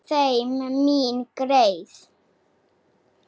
Leið mín greið.